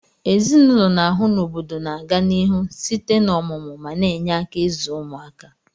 Ezinụlọ n'ahu na obodo na aga n'ihu site na omumu ma na enye aka izu ụmaka